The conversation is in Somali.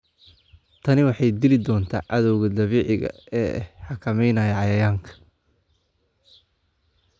Tani waxay dili doontaa cadawga dabiiciga ah ee xakameynaya cayayaanka.